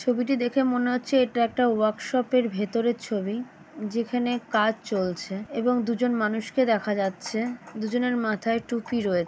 ছবিটি দেখে মনে হচ্ছে এটা একটা ওয়ার্ক শপের ভেতরের ছবি। যেখানে কাজ চলছে এবং দুজন মানুষকে দেখা যাচ্ছে। দুজনের মাথায় টুপি রয়ে--